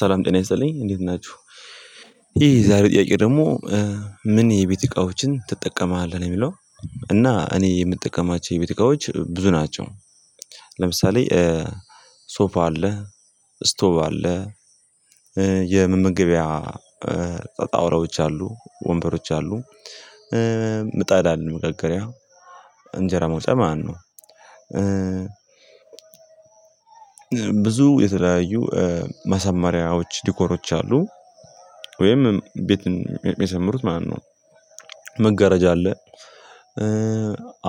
ሰላም ጤና ይሰለኝ እንዴት ናችሁ ይህ ዛሬ ጥያቄ ደግሞ ምን የቤት እቃዎችን ትጠቀማለህ ነው የሚለው? እና እኔ የምጠቀማቸው የቤት እቃዎች ብዙ ናቸው ለምሳሌ ሶፋ አለ ስቶቭ አለ የመመገቢያ ጣውላዎች አሉ ወንበሮች አሉ ምጣዳ አለን መጋገሪያ እንጀራ ማውጫ ማለት ነው። ብዙ የተለያዩ ማሰማሪያዎች ዲኮሮች አሉ ወይም ቤት ሚያሳምሩት ማለት ነው። መጋረጃ አለ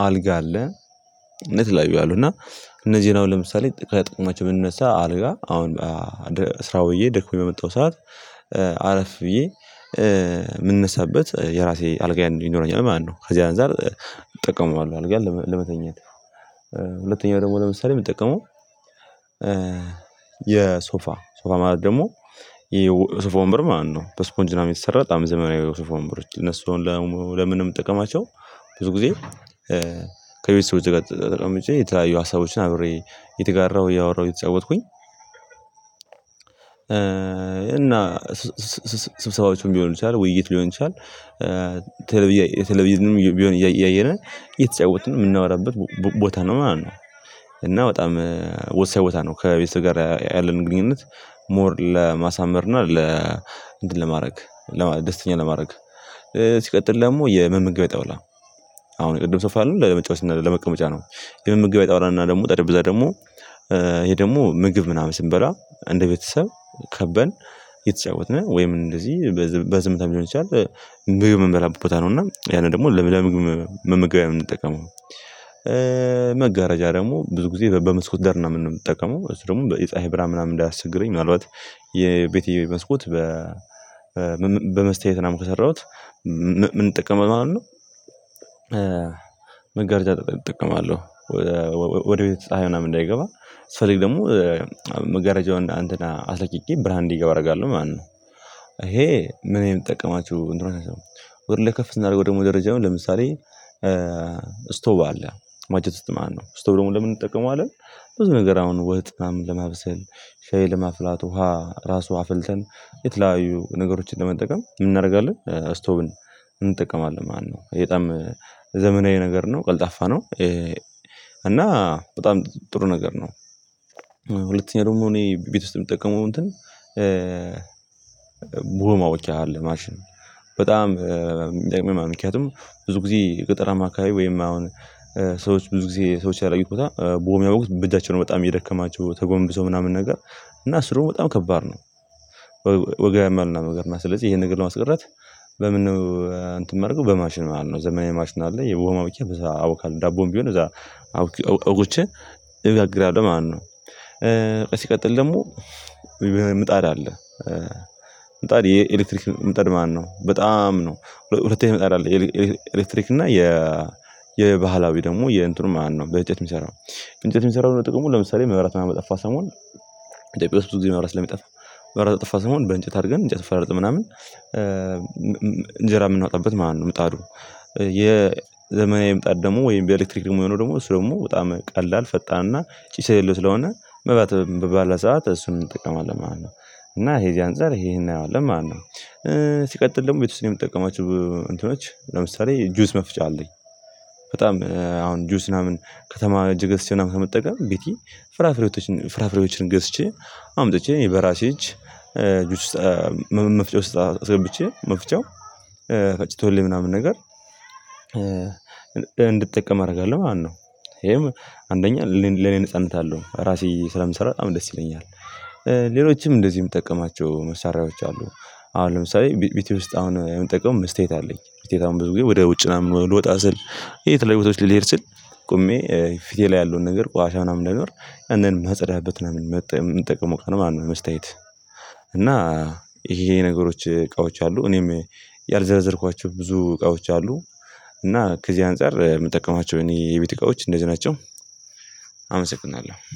አልጋ አለ እና የተለያዩ አለ እና እነዚህን አሁን ለምሳሌ ከጥቅማቸው ብንነሳ አለጋ አሁን ስራ ዉዬ ደክሞኝ በመጣው ሰዓት አረፍ ብዬ ምነሳበት የራሴ አልጋ ይኖረኛል ማለት ነው። ከዚህ አንፃር እጠቀመዋለሁ አልጋን ለመተኛት። ሁለተኛው ደግሞ ለምሳሌ የምጠቀመው የሶፋ ሶፋ ማለት ደግሞ ይሄ ሶፋ ወንበር ማለት ነው በስፖንጅ ምናምን የተሰራ አምስት ዘመናዊ የሶፋ ወንበሮች እነሱን ለምንጠቀማቸው ብዙ ጊዜ ከቤተሰቦቼ ጋር ተቀምጬ የተለያዩ ሀሳቦችን አብሬ እየተጋራው ያወራሁኝ እየተጫወትኩኝ እና ስብሰባዎችን ሊሆን ይቻላል ውይይት ሊሆን ይችላል ቴሌቭዥንም ቢሆን እያየን እየተጫወትን የምናወራበት ቦታ ነው ማለት ነው። እና በጣም ወሳኝ ቦታ ነው ከቤተሰብ ጋር ያለን ግንኙነት ሞር ለማሳመር እና ለ እንትን ለማድረግ ደስተኛ ለማድረግ ሲቀጥል ደግሞ የመመገብያ ጣዉላ አሁን ቅድም ሶፋ ያልነው ለመጫወት እና ለመቀመጫ ነው። የመመገቢያ ጠውላ ደግሞ ጠረቤዛ ደግሞ ይሄ ደግሞ ምግብ ምናምን ስንበላ እንደ ቤተሰብ ከበን እየተጫወትነ ወይም እንደዚህ በዝምታ ሊሆን ይችላል ምግብ መንበላበት ቦታ ነው እና ያን ደግሞ ለምግብ መመገቢያ የምንጠቀመው። መጋረጃ ደግሞ ብዙ ጊዜ በመስኮት ደር ምናምን ነው የምጠቀመው እሱ ደግሞ የፀሀይ ብርሃን ምናምን እንዳያስቸግረኝ ምናልባት የቤቴ መስኮት በመስታየት ምናምን የሰራሁት ምንጠቀመው ማለት ነው። መጋረጃ እጠቀማለው ወደ ቤት ፀሀይ ምናምን እንዳይገባ ስፈልግ ደግሞ መገረጃውን አስለቅቄ ብርሃን እንዲገባ አደርጋለሁ ማለት ነው። ይሄ ምን የምጠቀማችሁ እንደሆነ ነው ወደ ላይ ከፍ ስናድርገው ደግሞ ደረጃውን ለምሳሌ ስቶቭ አለ ማጀት ዉስጥ ማለት ነው ስቶቭ ደግሞ ለምን እንጠቀመዋለን? ብዙ ነገር አሁን ወጥ ምንምን ለማብሰል ሻይ ለማፍላት ውሃ ራሱ አፍልተን የተለያዩ ነገሮችን ለመጠቀም ምን እናደርጋለን አስቶቭን እንጠቀማለን ማለት ነው ይሄ የጣም ዘመናዊ ነገር ነው ቀልጣፋ ነው። እና በጣም ጥሩ ነገር ነው። ሁለተኛ ደግሞ እኔ ቤት ውስጥ የምጠቀመው እንትን ቡሆ ማሞቅያ አለ ማሽን በጣም የሚጠቅም ማለት ነው ምክንያቱም ብዙ ጊዜ ቅጥር አማካይ ወይም አሁን ሰዎች ብዙ ጊዜ ሰዎች ያደረጉት ቡሆ ሚያቦኩት በእጃቸው ነው በጣም እየደከማቸው ተጎንብሰው ምናምን ነገር እና እሱ ደግሞ በጣም ከባድ ነው። ወገብ ያመልና ስለዚህ ይሄን ነገር ለማስቀረት በምን ነው አንትን ምናደርገው በማሽን ማለት ነው። ዘመናዊ ማሽን አለ የቡሆ ማቡኪያ ያቦካል ዳቦም ቢሆን እዛ አውግቼ እጋግራለሁ ማለት ነው። ሲቀጥል ደግሞ ምጣድ አለ ምጣድ የኤሌክትሪክ መጣድ ማለት ነው በጣም ነው ሁለተኛ መጣድ አለ ኤሌክትሪክ እና የ የባህላዊ ደግሞ የእንትኑ ማለእት ነው በእንጨት የሚሰራው በእንጨት የሚሰራው ጥቅሙ ለምሳሌ መብራት በጠፋ ሰሞን ኢትዮጵያ ዉስጥ ብዙ ጊዜ መብራት ስለሚጠፋ መብራት በጥፋ ሰሞን በእንጨት አድርገን እንጨት ፈላልጠን ምናምን እንጀራ የምናወጣበት ማለት ነው። ምጣዱ የዘመናዊ ምጣድ ደግሞ ወይም የኤሌክትሪክ የሆነው ደግሞ እሱ ደግሞ በጣም ቀላል ፈጣንና ጭስ የሌለው ስለሆነ መብራት ባለ ሰዓት እሱን እንጠቀማለን ማለት ነው። እና ይሄ እዚህ አንፃር ይሄን እናየዋለን ማለት ነው። ሲቀጥል ደግሞ ቤት ውስጥ ነው የምትጠቀማቸው እንትኖች ለምሳሌ ጁስ መፍጫ አለኝ በጣም አሁን ጁስ ምናምን ከተማ ሄጄ ገዝቼ ከምትጠቀም ቤቲ ፍራፍሬዎችን ፍራፍሬዎችን ገዝቼ አምጥቼ በራሴ እጅ ጁስ መፍጫ ዉስጥ አስገብቼ መፍጫው ፈጭቶልኝ ምናምን ነገር እንድትጠቀም አደርጋለሁ ማለት ነው። ይሄም አንደኛ ለኔ ነጻነት አለው ራሴ ስለምሰራ በጣም ደስ ይለኛል። ሌሎችም እንደዚህም ምጠቀማቸው መሳሪያዎች አሉ አሁን ለምሳሌ ቤቴ ውስጥ አሁን የምንጠቀመው መስታዬት አለኝ መስታዬት አሁን ብዙ ጊዜ ወደ ውጭ ምናምን ልወጣ ስል የተለያዩ ቦታዎች ሊሄድ ስል ቆሜ ፊቴ ላይ ያለውን ነገር ቋሻሻ ምናምን እንዳይኖር ያንን ማጽዳበት ምናምን መጣ የምንጠቅመው ቀን ማለት ነው። መስታዬት እና ይሄ ነገሮች እቃዎች አሉ እኔም ያልዘረዘርኳቸው ብዙ እቃዎች አሉ። እና ከዚህ አንፃር የምጠቀማቸው እኔ የቤት እቃዎች እንደዚህ ናቸው።